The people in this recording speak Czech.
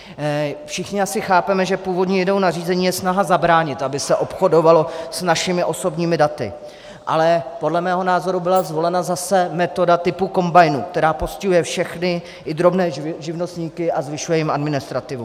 Všichni asi chápeme, že původní ideou nařízení je snaha zabránit, aby se obchodovalo s našimi osobními daty, ale podle mého názoru byla zvolena zase metoda typu kombajnu, která postihuje všechny, i drobné živnostníky, a zvyšuje jim administrativu.